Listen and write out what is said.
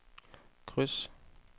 kryds